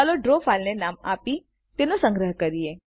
ચાલો ડ્રો ફાઈલને નામ આપી તેનો સંગ્રહ કરીએ